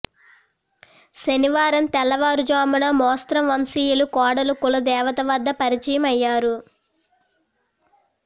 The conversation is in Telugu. శనివారం తెల్లవారుజామున మెస్రం వంశీయుల కోడళ్లు కుల దేవత వద్ద పరిచయం అయ్యారు